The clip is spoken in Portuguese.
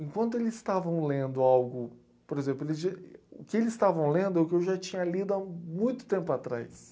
Enquanto eles estavam lendo algo... Por exemplo eles já, o que eles estavam lendo é o que eu já tinha lido há muito tempo atrás.